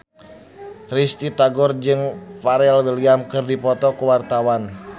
Risty Tagor jeung Pharrell Williams keur dipoto ku wartawan